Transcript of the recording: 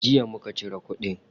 Jiya muka cire kudin.